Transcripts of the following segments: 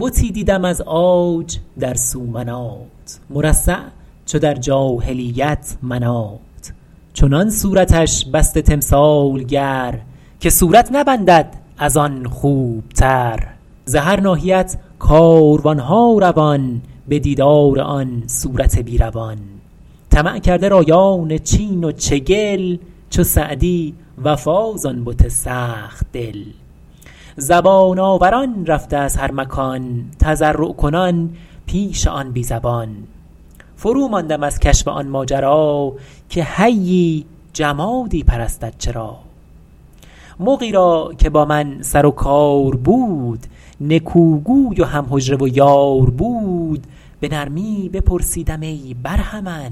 بتی دیدم از عاج در سومنات مرصع چو در جاهلیت منات چنان صورتش بسته تمثالگر که صورت نبندد از آن خوبتر ز هر ناحیت کاروانها روان به دیدار آن صورت بی روان طمع کرده رایان چین و چگل چو سعدی وفا ز آن بت سخت دل زبان آوران رفته از هر مکان تضرع کنان پیش آن بی زبان فرو ماندم از کشف آن ماجرا که حیی جمادی پرستد چرا مغی را که با من سر و کار بود نکوگوی و هم حجره و یار بود به نرمی بپرسیدم ای برهمن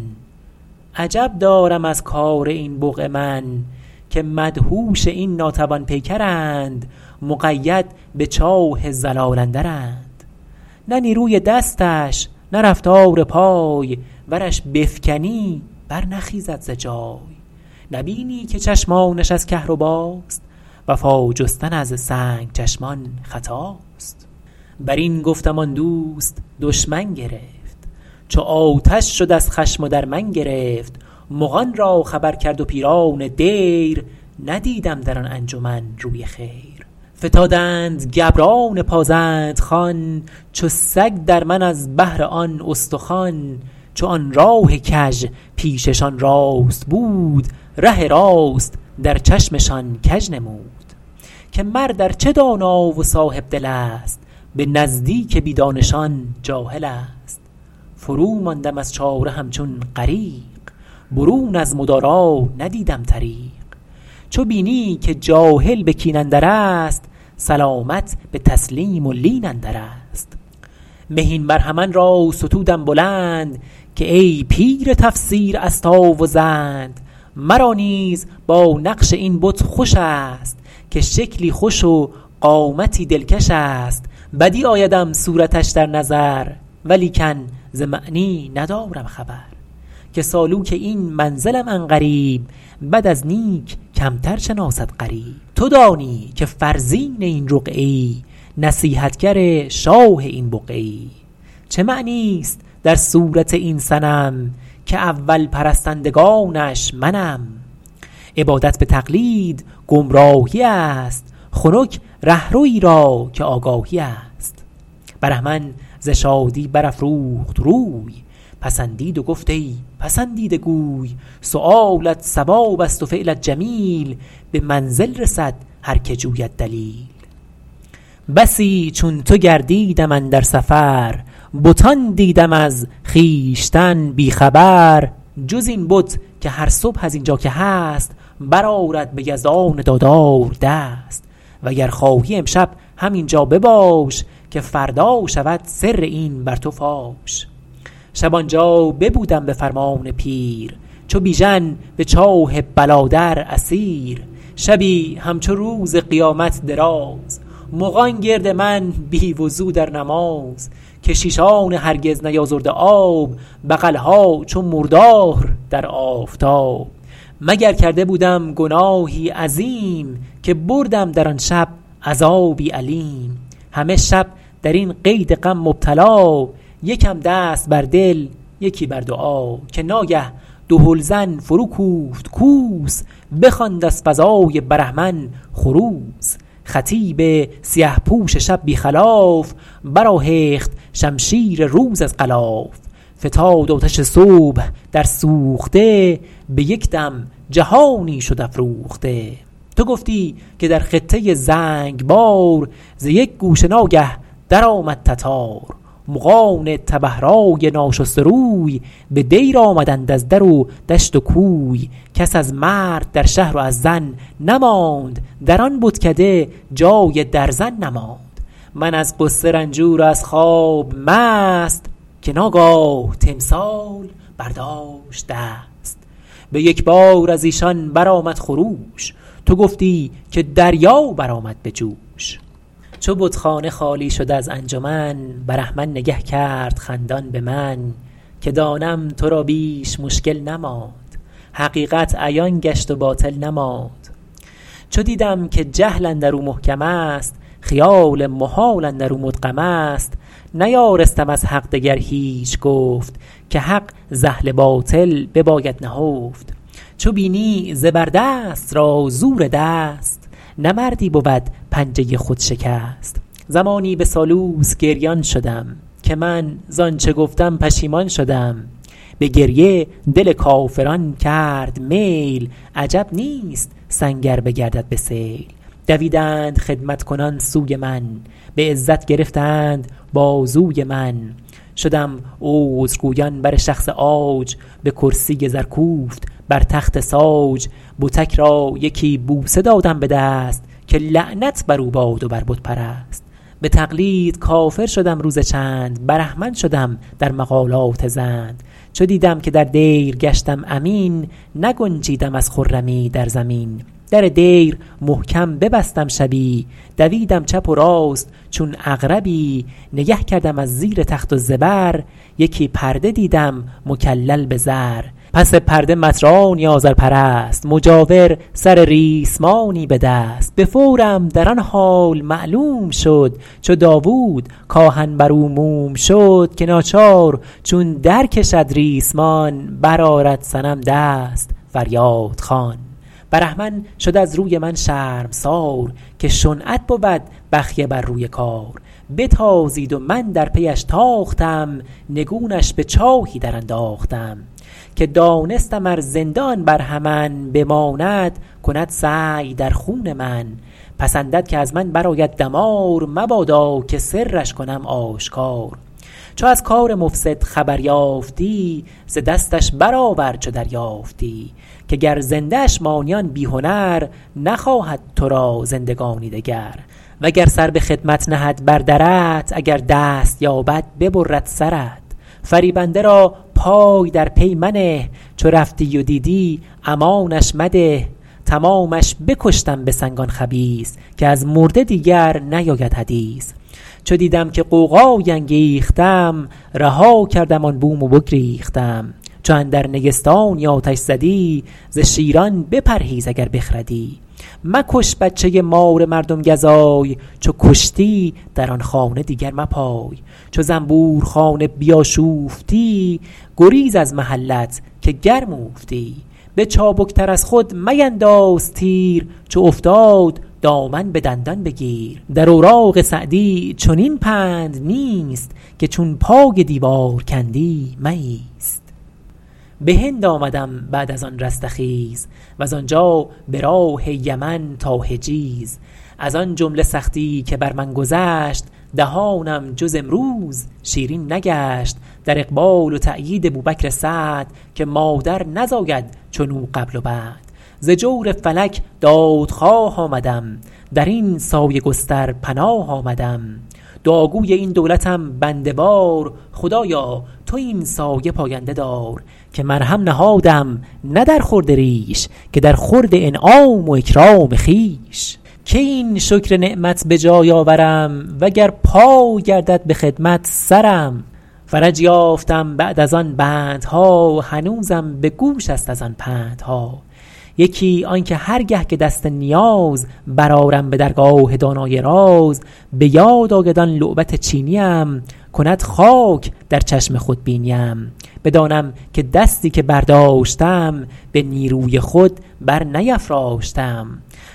عجب دارم از کار این بقعه من که مدهوش این ناتوان پیکرند مقید به چاه ضلال اندرند نه نیروی دستش نه رفتار پای ورش بفکنی بر نخیزد ز جای نبینی که چشمانش از کهرباست وفا جستن از سنگ چشمان خطاست بر این گفتم آن دوست دشمن گرفت چو آتش شد از خشم و در من گرفت مغان را خبر کرد و پیران دیر ندیدم در آن انجمن روی خیر فتادند گبران پازند خوان چو سگ در من از بهر آن استخوان چو آن راه کژ پیششان راست بود ره راست در چشمشان کژ نمود که مرد ار چه دانا و صاحبدل است به نزدیک بی دانشان جاهل است فرو ماندم از چاره همچون غریق برون از مدارا ندیدم طریق چو بینی که جاهل به کین اندر است سلامت به تسلیم و لین اندر است مهین برهمن را ستودم بلند که ای پیر تفسیر استا و زند مرا نیز با نقش این بت خوش است که شکلی خوش و قامتی دلکش است بدیع آیدم صورتش در نظر ولیکن ز معنی ندارم خبر که سالوک این منزلم عن قریب بد از نیک کمتر شناسد غریب تو دانی که فرزین این رقعه ای نصیحتگر شاه این بقعه ای چه معنی است در صورت این صنم که اول پرستندگانش منم عبادت به تقلید گمراهی است خنک رهروی را که آگاهی است برهمن ز شادی بر افروخت روی پسندید و گفت ای پسندیده گوی سؤالت صواب است و فعلت جمیل به منزل رسد هر که جوید دلیل بسی چون تو گردیدم اندر سفر بتان دیدم از خویشتن بی خبر جز این بت که هر صبح از اینجا که هست برآرد به یزدان دادار دست وگر خواهی امشب همینجا بباش که فردا شود سر این بر تو فاش شب آنجا ببودم به فرمان پیر چو بیژن به چاه بلا در اسیر شبی همچو روز قیامت دراز مغان گرد من بی وضو در نماز کشیشان هرگز نیازرده آب بغلها چو مردار در آفتاب مگر کرده بودم گناهی عظیم که بردم در آن شب عذابی الیم همه شب در این قید غم مبتلا یکم دست بر دل یکی بر دعا که ناگه دهل زن فرو کوفت کوس بخواند از فضای برهمن خروس خطیب سیه پوش شب بی خلاف بر آهخت شمشیر روز از غلاف فتاد آتش صبح در سوخته به یک دم جهانی شد افروخته تو گفتی که در خطه زنگبار ز یک گوشه ناگه در آمد تتار مغان تبه رای ناشسته روی به دیر آمدند از در و دشت و کوی کس از مرد در شهر و از زن نماند در آن بتکده جای درزن نماند من از غصه رنجور و از خواب مست که ناگاه تمثال برداشت دست به یک بار از ایشان برآمد خروش تو گفتی که دریا بر آمد به جوش چو بتخانه خالی شد از انجمن برهمن نگه کرد خندان به من که دانم تو را بیش مشکل نماند حقیقت عیان گشت و باطل نماند چو دیدم که جهل اندر او محکم است خیال محال اندر او مدغم است نیارستم از حق دگر هیچ گفت که حق ز اهل باطل بباید نهفت چو بینی زبر دست را زور دست نه مردی بود پنجه خود شکست زمانی به سالوس گریان شدم که من زآنچه گفتم پشیمان شدم به گریه دل کافران کرد میل عجب نیست سنگ ار بگردد به سیل دویدند خدمت کنان سوی من به عزت گرفتند بازوی من شدم عذرگویان بر شخص عاج به کرسی زر کوفت بر تخت ساج بتک را یکی بوسه دادم به دست که لعنت بر او باد و بر بت پرست به تقلید کافر شدم روز چند برهمن شدم در مقالات زند چو دیدم که در دیر گشتم امین نگنجیدم از خرمی در زمین در دیر محکم ببستم شبی دویدم چپ و راست چون عقربی نگه کردم از زیر تخت و زبر یکی پرده دیدم مکلل به زر پس پرده مطرانی آذرپرست مجاور سر ریسمانی به دست به فورم در آن حال معلوم شد چو داود کآهن بر او موم شد که ناچار چون در کشد ریسمان بر آرد صنم دست فریادخوان برهمن شد از روی من شرمسار که شنعت بود بخیه بر روی کار بتازید و من در پیش تاختم نگونش به چاهی در انداختم که دانستم ار زنده آن برهمن بماند کند سعی در خون من پسندد که از من بر آید دمار مبادا که سرش کنم آشکار چو از کار مفسد خبر یافتی ز دستش برآور چو دریافتی که گر زنده اش مانی آن بی هنر نخواهد تو را زندگانی دگر وگر سر به خدمت نهد بر درت اگر دست یابد ببرد سرت فریبنده را پای در پی منه چو رفتی و دیدی امانش مده تمامش بکشتم به سنگ آن خبیث که از مرده دیگر نیاید حدیث چو دیدم که غوغایی انگیختم رها کردم آن بوم و بگریختم چو اندر نیستانی آتش زدی ز شیران بپرهیز اگر بخردی مکش بچه مار مردم گزای چو کشتی در آن خانه دیگر مپای چو زنبور خانه بیاشوفتی گریز از محلت که گرم اوفتی به چابک تر از خود مینداز تیر چو افتاد دامن به دندان بگیر در اوراق سعدی چنین پند نیست که چون پای دیوار کندی مایست به هند آمدم بعد از آن رستخیز وز آنجا به راه یمن تا حجیز از آن جمله سختی که بر من گذشت دهانم جز امروز شیرین نگشت در اقبال و تأیید بوبکر سعد که مادر نزاید چنو قبل و بعد ز جور فلک دادخواه آمدم در این سایه گستر پناه آمدم دعاگوی این دولتم بنده وار خدایا تو این سایه پاینده دار که مرهم نهادم نه در خورد ریش که در خورد انعام و اکرام خویش کی این شکر نعمت به جای آورم و گر پای گردد به خدمت سرم فرج یافتم بعد از آن بندها هنوزم به گوش است از آن پندها یکی آن که هر گه که دست نیاز برآرم به درگاه دانای راز به یاد آید آن لعبت چینیم کند خاک در چشم خودبینیم بدانم که دستی که برداشتم به نیروی خود بر نیفراشتم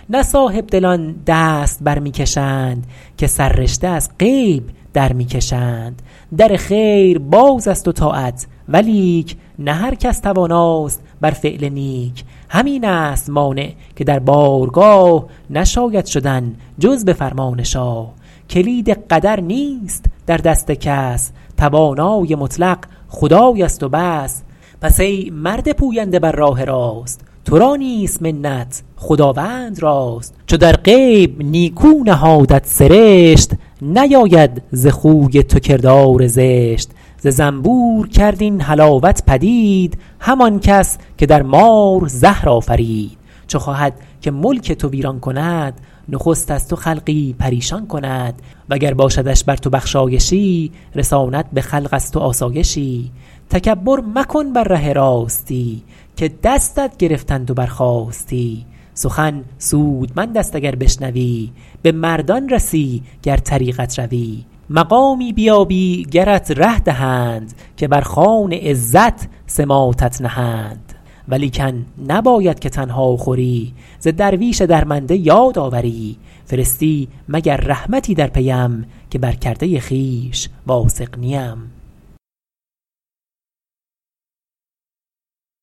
نه صاحبدلان دست بر می کشند که سررشته از غیب در می کشند در خیر باز است و طاعت ولیک نه هر کس تواناست بر فعل نیک همین است مانع که در بارگاه نشاید شدن جز به فرمان شاه کلید قدر نیست در دست کس توانای مطلق خدای است و بس پس ای مرد پوینده بر راه راست تو را نیست منت خداوند راست چو در غیب نیکو نهادت سرشت نیاید ز خوی تو کردار زشت ز زنبور کرد این حلاوت پدید همان کس که در مار زهر آفرید چو خواهد که ملک تو ویران کند نخست از تو خلقی پریشان کند وگر باشدش بر تو بخشایشی رساند به خلق از تو آسایشی تکبر مکن بر ره راستی که دستت گرفتند و برخاستی سخن سودمند است اگر بشنوی به مردان رسی گر طریقت روی مقامی بیابی گرت ره دهند که بر خوان عزت سماطت نهند ولیکن نباید که تنها خوری ز درویش درمنده یاد آوری فرستی مگر رحمتی در پیم که بر کرده خویش واثق نیم